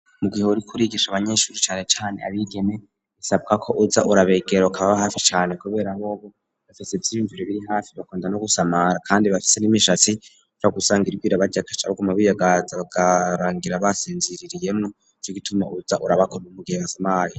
Mu gihuri kurigisha abanyeshuri cyane cyane abigem bisabwa ko uza urabegero kaba hafi cyane kubera bobo bafise by'ibimvire biri hafi bakunda no gusamara kandi bafite n'imishatsi ba gusanga irbira baryagashabwo mabiyo gaza garangira basinziririyemo ry'igituma uza urabakorb umugie basamaye